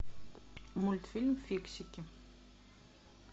мультфильм фиксики